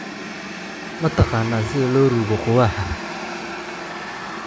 Ma taqaanaa sida loo rugoo quwaxaa?